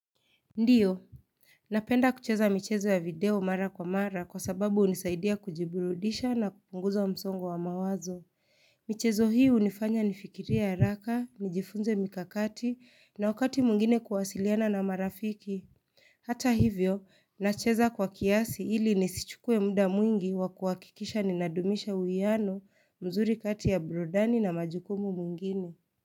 Ndiyo Napenda kucheza michezo ya video mara kwa mara kwa sababu unisaidia kujiburudisha na kupunguza wa msongwa wa mawazo michezo hii unifanya nifikiria ya raka, nijifunze mikakati na wakati mungine kuwasiliana na marafiki Hata hivyo, nacheza kwa kiasi ili nisichukue muda mwingi wa kuwakikisha ninadumisha uyiano mzuri kati ya brodani na majukumu mungine.